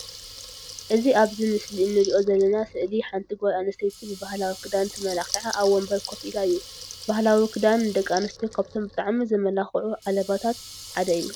እዚ ኣብዚ ምስሊ እንርእዮ ዘለና ስእሊ ሓንቲ ጓል ኣንስተይቲ ብባህላዊ ክዳን ተመላኪዓ ኣብ ወንበር ኮፍ ኢላ እዩ። ባህላዊ ክዳን ንደቂ ኣንሰትዮ ካብቶም በጣዕሚ ዘመላክዑ ዓለበታት ሓደ እዩ።